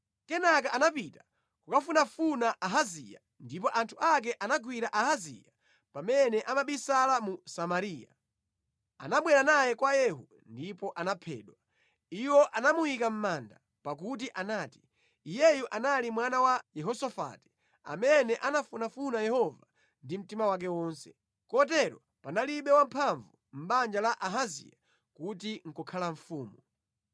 Kenaka anapita kukafunafuna Ahaziya, ndipo anthu ake anagwira Ahaziya pamene amabisala mu Samariya. Anabwera naye kwa Yehu ndipo anaphedwa. Iwo anamuyika mʼmanda, pakuti anati, “Iyeyu anali mwana wa Yehosafati amene anafunafuna Yehova ndi mtima wake wonse.” Kotero panalibe wamphamvu mʼbanja la Ahaziya kuti nʼkukhala mfumu.